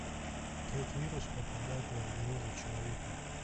как вирус попадает в организм человека